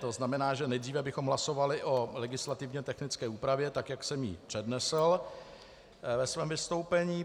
To znamená, že nejdříve bychom hlasovali o legislativně technické úpravě, tak jak jsem ji přednesl ve svém vystoupení.